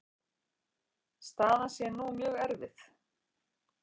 Staðan sé nú mjög erfið.